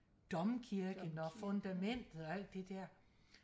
domkirken og fundamentet og alt det der